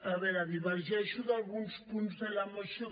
a veure divergeixo d’alguns punts de la moció